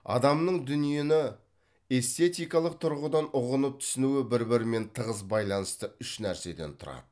адамның дүниені эстетикалық тұрғыдан ұғынып түсінуі бір бірімен тығыз байланысты үш нәрседен тұрады